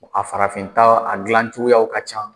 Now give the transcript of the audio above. A farafin ta, a dilan cogoyaw ka ca.